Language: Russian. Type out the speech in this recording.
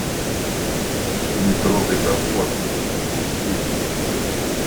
не трогай топор запусти